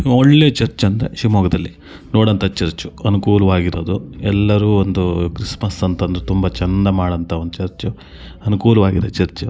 ಒಳ್ಳೆ ಚರ್ಚ್ ಅಂದ್ರೆ ಶಿವಮೊಗ್ಗದಲ್ಲಿ ನೋಡುವಂಥ ಚರ್ಚ್ ಅನುಕೂಲವಾಗಿರುವುದು ಎಲ್ಲ ಅಂದ್ರೆ ಕ್ರಿಸ್ತ್ಮಸ್ ಅಂತಂದ್ರೆ ತುಂಬಾ ಚೆಂದ ಮಾಡುವಂಥ ಚರ್ಚ್ ಅನುಕೂಲವಾಗಿದೆ ಚರ್ಚ್ .